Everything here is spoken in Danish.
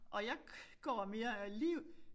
Og jeg går mere ligeud